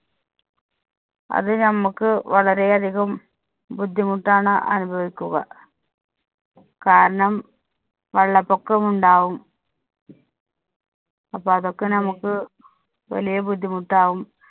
അത് ഞമ്മക്ക് വളരെ അധികം ബുദ്ധിമുട്ടാണ് അനുഭവിക്കുക. കാരണം വെള്ളപ്പൊക്കം ഉണ്ടാവും. അപ്പോ അതൊക്കെ ഞമക്ക് വലിയ ബുദ്ധിമുട്ടാവും.